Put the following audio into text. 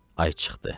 Ay çıxdı.